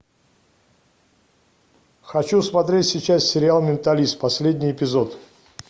хочу смотреть сейчас сериал менталист последний эпизод